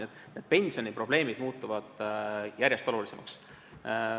Nii et pensioniprobleemid muutuvad järjest olulisemaks.